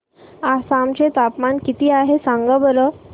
आसाम चे तापमान किती आहे सांगा बरं